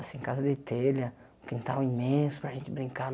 Assim, casa de telha, quintal imenso para gente brincar.